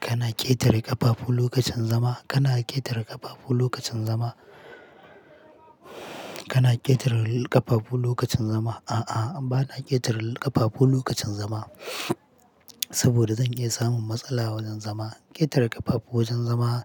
Kana ƙetare ƙafafu lokacin zama? Kana ƙetare ƙafafu lokacin zama? Kana ƙetare ƙafafu lokacin zama? A'a, bana ƙetare ƙafafu lokacin zama. Saboda zan iya samun matsala wajen zama. Ƙetare ƙafafu wajen zama